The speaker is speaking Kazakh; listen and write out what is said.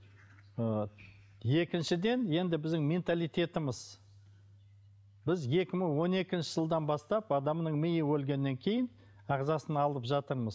ы екіншіден енді біздің менталитетіміз біз екі мың он екінші жылдан бастап адамның миы өлгеннен кейін ағзасын алып жатырмыз